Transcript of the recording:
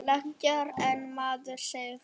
Lægra en maður segir frá.